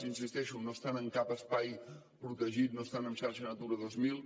hi insisteixo no estan en cap espai protegit no estan en xarxa natural dos mil